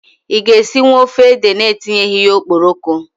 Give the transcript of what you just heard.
I ga-esinwu ofe ede na etinyeghi ya okporoko?